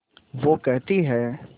वो कहती हैं